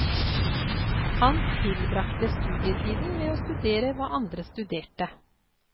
Han tilbragte studietiden med å studere hva andre studerte.